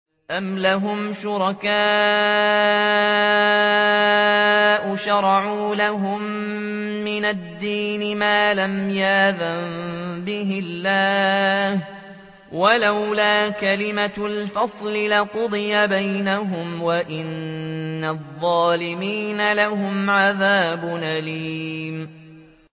أَمْ لَهُمْ شُرَكَاءُ شَرَعُوا لَهُم مِّنَ الدِّينِ مَا لَمْ يَأْذَن بِهِ اللَّهُ ۚ وَلَوْلَا كَلِمَةُ الْفَصْلِ لَقُضِيَ بَيْنَهُمْ ۗ وَإِنَّ الظَّالِمِينَ لَهُمْ عَذَابٌ أَلِيمٌ